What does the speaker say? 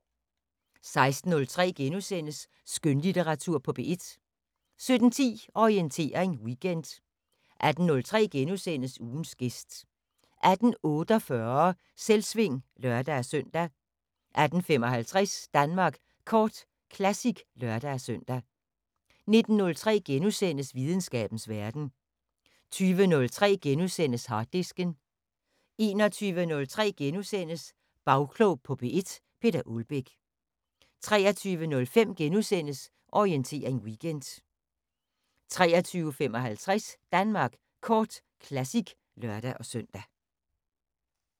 16:03: Skønlitteratur på P1 * 17:10: Orientering Weekend 18:03: Ugens gæst * 18:48: Selvsving (lør-søn) 18:55: Danmark Kort Classic (lør-søn) 19:03: Videnskabens Verden * 20:03: Harddisken * 21:03: Bagklog på P1: Peter Ålbæk * 23:05: Orientering Weekend * 23:55: Danmark Kort Classic (lør-søn)